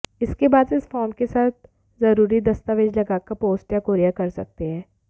इसके बाद इस फॉर्म के साथ जरूरी दस्तावेज लगाकर पोस्ट या कोरियर कर सकते हैं